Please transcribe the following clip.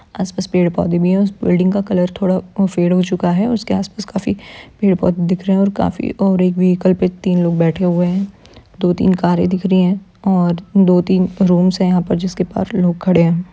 आसपास पेड़-पौधे भी है उस बिल्डिंग का कलर थोड़ा अ फेड हो चुका है उसके आसपास काफी पेड़-पौधे दिख रहे है और काफी और एक व्हीकल पे तीन लोग बैठे है दो-तीन कारे दिख रहा है और दो तीन रूम्स है यहां पर जिसके बाहर लोग खड़े है।